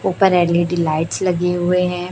ऊपर L E D lights लगे हुए है।